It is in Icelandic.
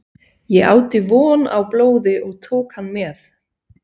Ég átti von á blóði og tók hann með.